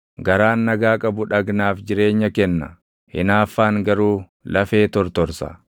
Garaan nagaa qabu dhagnaaf jireenya kenna; hinaaffaan garuu lafee tortorsa.